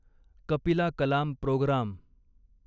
Kapila Kalam programme